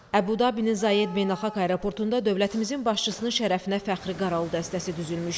Əbu Dabinin Zayed Beynəlxalq Aeroportunda dövlətimizin başçısının şərəfinə fəxri qaral dəstəsi düzülmüşdü.